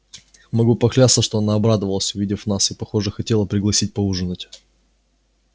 могу поклясться что она обрадовалась увидев нас и похоже хотела пригласить поужинать